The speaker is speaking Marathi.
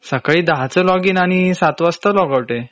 सकाळी १० च लोग इन आणि ७ वाजता लोग आउट आहे.